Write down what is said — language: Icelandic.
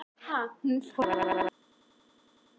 Ég horfði á hann.